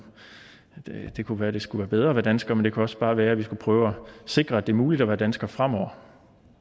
at det kunne være at det skulle være bedre at være dansker men det kunne også bare være at vi skulle prøve at sikre at det var muligt at være dansker fremover